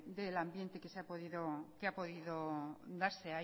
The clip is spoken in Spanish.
del ambiente que ha podido darse